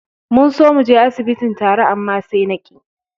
Mun so muje asibitin tare, amma sai na ƙi.